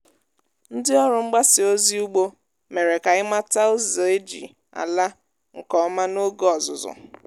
ndị ọrụ mgbasa ozi ugbo mere ka anyị mata ụzọ eji ala nke ọma n’oge ọzụzụ